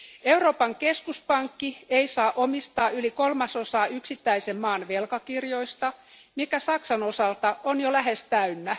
Euroopan keskuspankki ei saa omistaa yli kolmasosaa yksittäisen maan velkakirjoista, mikä Saksan osalta on jo lähes täynnä.